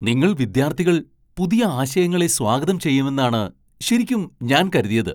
നിങ്ങൾ വിദ്യാർത്ഥികൾ പുതിയ ആശയങ്ങളെ സ്വാഗതം ചെയ്യുമെന്നാണ് ശെരിക്കും ഞാൻ കരുതിയത് .